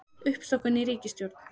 Uppstokkun í ríkisstjórn